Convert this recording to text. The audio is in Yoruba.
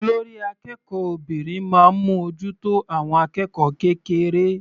Olórí akẹ́kọ̀ọ́ obìnrin máa ń mú ojú tó àwọn akẹ́kọ̀ọ́ kékeré.